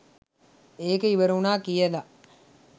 ඒක ඉවර උන කියලා